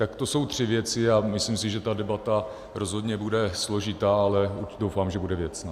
Tak to jsou tři věci a myslím si, že ta debata rozhodně bude složitá, ale doufám, že bude věcná.